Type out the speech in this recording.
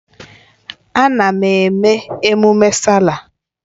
Ana m eme mmemme Sáálà.